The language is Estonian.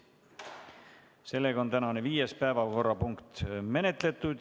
Seega on tänane viies päevakorrapunkt menetletud.